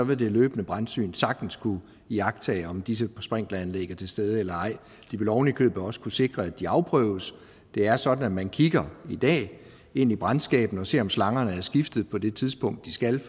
vil det løbende brandsyn sagtens kunne iagttage om disse sprinkleranlæg er til stede eller ej de ville ovenikøbet også kunne sikre at de afprøves det er sådan i man kigger ind i brandskabene og ser om slangerne er skiftet på det tidspunkt de skal